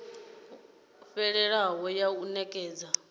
yo fhelelaho ya u nekedza